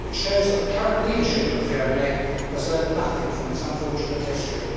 It shows that the current leadership of Germany has learnt nothing from its unfortunate history.